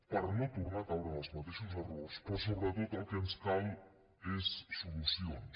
per no tornar a caure en els mateixos errors però sobretot el que ens cal és solucions